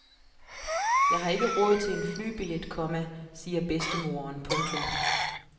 Jeg har ikke råd til en flybillet, komma siger bedstemoderen. punktum